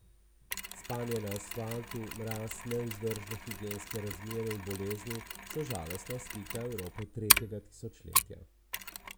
Spanje na asfaltu mraz, nevzdržne higienske razmere in bolezni so žalostna slika Evrope tretjega tisočletja.